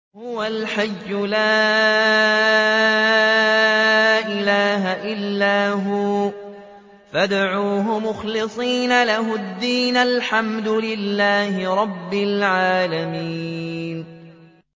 هُوَ الْحَيُّ لَا إِلَٰهَ إِلَّا هُوَ فَادْعُوهُ مُخْلِصِينَ لَهُ الدِّينَ ۗ الْحَمْدُ لِلَّهِ رَبِّ الْعَالَمِينَ